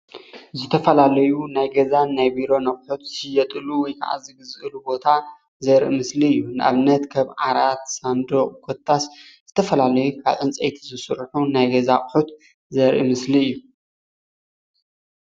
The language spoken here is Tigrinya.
ዝተፈላለዩ ናይ ቢሮን ፣ ናይ ገዛን ኣቁሑ ዝሽየጥሉ ወይ ከዓ ዝዕደጉሉ ቦታ ዘርኢ ምስሊ እዩ።